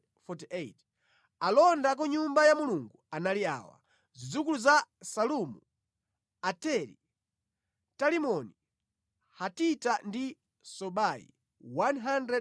Alonda a ku Nyumba ya Mulungu anali awa: Zidzukulu za Salumu, Ateri, Talimoni, Hatita ndi Sobai 138.